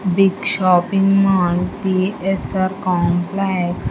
Big shopping mall T_S_R complex --